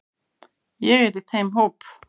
Ég er í þeim hóp.